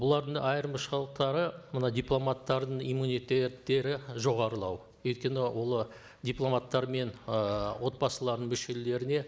бұлардың айырмашылықтары мына дипломаттардың иммунитеттері жоғарылау өйткені олар дипломаттар мен ыыы отбасыларының мүшелеріне